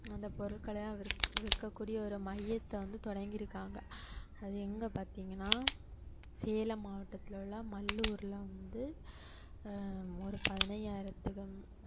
அந்த பொருட்களை எல்லாம் விற்க~ விற்கக்கூடிய ஒரு மையத்தை வந்து தொடங்கியிருக்காங்க அது எங்க பாத்தீங்கன்னா சேலம் மாவட்டத்தில் உள்ள மல்லூர்ல வந்து ஆஹ் ஒரு பதினைந்தாயிரத்திற்கும்